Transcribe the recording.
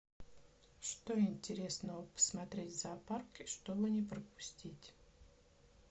что интересного посмотреть в зоопарке чтобы не пропустить